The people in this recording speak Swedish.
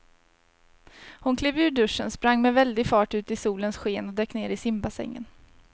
Hon klev ur duschen, sprang med väldig fart ut i solens sken och dök ner i simbassängen.